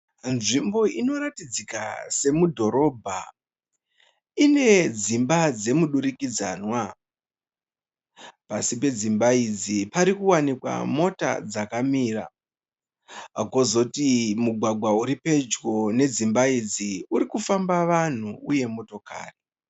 Nzvimbo inoratidzika semudhorobha, ine dzimba dzemudirikidzanwa. Pasi pedzimba idzi parikuwanika mota dzakamira, kozoti mugwagwa uripedyo nedzimba idzi urikufamba vanhu uye motokari.